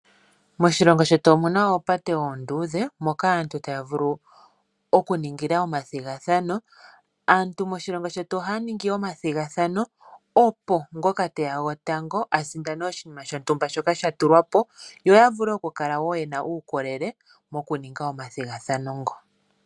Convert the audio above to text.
Moshilongo shetu omuna oopate oonduudhe moka aantu ta ya vulu okuningila omathigathano. Aantu moshilongo shetu oha ya ningi omathigathano opo ngoka te ya gotango asindane oshinima shontumba shoka sha tulwapo yo yavule okukala woo yena uukolele moku ninga omathigathano ngoka.